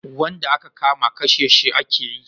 Wanda a ka kama kashe shi a ke yi